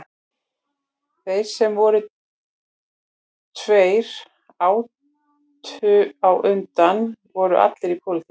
Þeir sem voru tveim árum á undan voru allir í pólitík